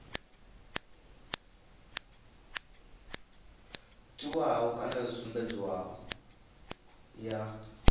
tiwaho kana yo sumbedzwaho ya